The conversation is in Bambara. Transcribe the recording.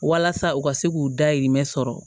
Walasa u ka se k'u dahirimɛ sɔrɔ